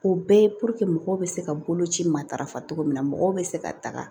O bɛɛ ye mɔgɔw bɛ se ka boloci matarafa cogo min na mɔgɔw bɛ se ka taga